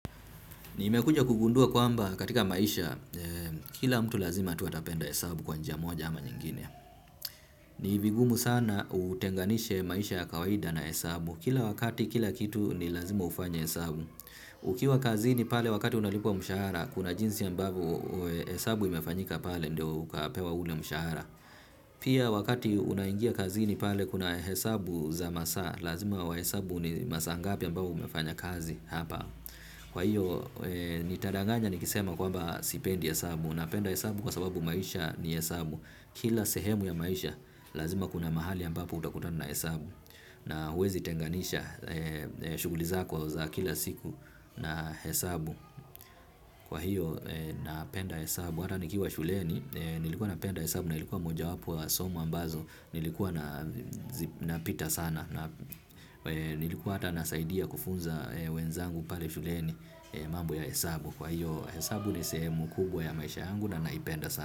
Nimekuja kugundua kwamba katika maisha, kila mtu lazima tu atapenda hesabu kwa njia moja ama nyingine. Ni vigumu sana utenganishe maisha ya kawaida na hesabu. Kila wakati, kila kitu ni lazima ufanye hesabu. Ukiwa kazini pale wakati unalipwa mshahara, kuna jinsi ambavyo hesabu imefanyika pale ndio ukapewa ule mshahara. Pia wakati unaingia kazini pale kuna hesabu za masaa, lazima wahesabu ni masaa ngapi ambayo umefanya kazi hapa. Kwa hiyo, nitadanganya nikisema kwamba sipendi hesabu. Napenda hesabu kwa sababu maisha ni hesabu. Kila sehemu ya maisha, lazima kuna mahali ambapo utakutana na hesabu. Na huwezi tenganisha, shughuli zako za kila siku na hesabu. Kwa hiyo, napenda hesabu, hata nikiwa shuleni. Nilikuwa napenda hesabu, nilikuwa mojawapo wa somo ambazo nilikuwa napita sana. Nilikuwa hata nasaidia kufunza wenzangu pale shuleni. Mambo ya hesabu kwa hiyo hesabu ni sehemu kubwa ya maisha yangu. Na naipenda sana.